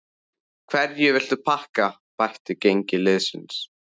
Hverju viltu þakka bætt gengi liðsins?